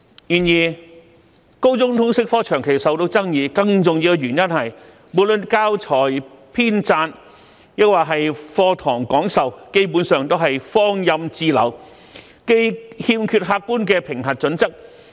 不過，高中通識科長期備受爭議，更重要的原因是教材編撰及課堂講授基本上是放任自流，欠缺客觀的評核準則。